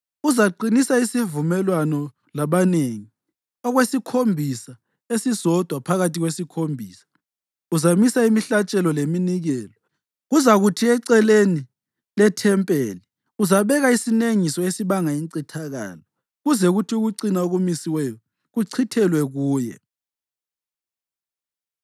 Uzaqinisa isivumelwano labanengi ‘okwesikhombisa’ esisodwa. Phakathi ‘kwesikhombisa’ uzamisa imihlatshelo leminikelo. Kuzakuthi eceleni lethempeli uzabeka isinengiso esibanga incithakalo, kuze kuthi ukucina okumisiweyo kuchithelwe kuye.”